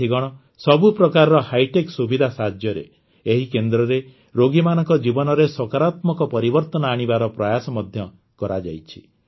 ସାଥିଗଣ ସବୁ ପ୍ରକାରର ହାଇଟେକ ସୁବିଧା ସାହାଯ୍ୟରେ ଏହି କେନ୍ଦ୍ରରେ ରୋଗୀମାନଙ୍କ ଜୀବନରେ ସକାରାତ୍ମକ ପରିବର୍ତନ ଆଣିବାର ପ୍ରୟାସ ମଧ୍ୟ କରାଯାଇଛି